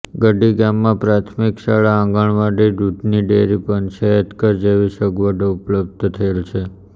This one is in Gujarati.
ગડી ગામમાં પ્રાથમિક શાળા આંગણવાડી દૂધની ડેરી પંચાયતઘર જેવી સગવડો ઉપલબ્ધ થયેલ છે